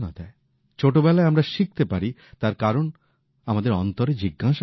ছোটবেলায় আমরা শিখতে পারি তার কারণ আমাদের অন্তরে জিজ্ঞাসা থাকে